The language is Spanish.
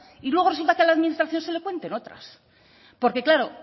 y luego resulta que a la administración se le cuenten otras porque claro